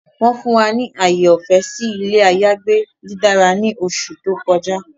Wọn fun wa ni aaye ọfẹ si ilé àyágbé didára ni oṣú to kọjá